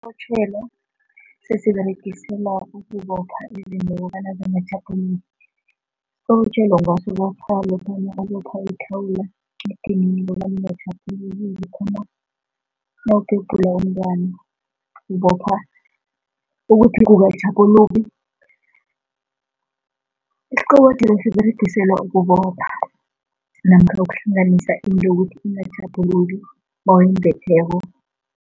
Isiqobotjhelo sesiberegiselwa ukubopha izinto bonyana zingatjhaphuluki, isiqobotjhelo ungasibopha lokha nawubopha ithawula, bona ingatjhaphuluki, nawubhebhula umntwana, ubopha ukuthi kungatjhaphuluki. Isiqobotjhelo siberegiselwa ukubopha, namkha ukuhlanganisa into ukuthi ingatjhaphuluki nawuyimbetheko.